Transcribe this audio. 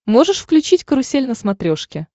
можешь включить карусель на смотрешке